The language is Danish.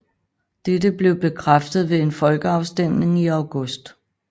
Dette blev bekræftet ved en folkeafstemning i august